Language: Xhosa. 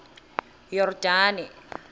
yordane